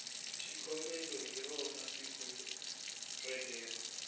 xikombelo hi rona siku relero